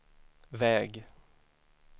väg